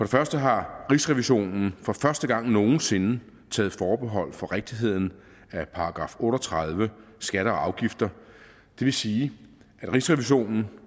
første har rigsrevisionen for første gang nogen sinde taget forbehold for rigtigheden af § otte og tredive skatter og afgifter det vil sige at rigsrevisionen